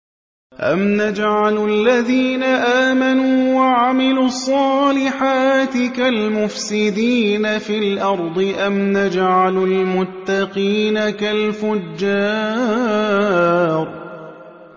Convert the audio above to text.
أَمْ نَجْعَلُ الَّذِينَ آمَنُوا وَعَمِلُوا الصَّالِحَاتِ كَالْمُفْسِدِينَ فِي الْأَرْضِ أَمْ نَجْعَلُ الْمُتَّقِينَ كَالْفُجَّارِ